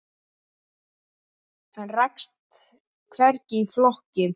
Hann rakst hvergi í flokki.